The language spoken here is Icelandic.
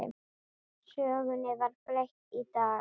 Sögunni var breytt í dag.